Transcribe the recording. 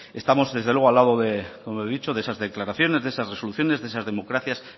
estamos desde luego al lado como he dicho de esas declaraciones de esas resoluciones de esas democracias